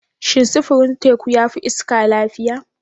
Shin sufurin teku ya fi iska lafiya?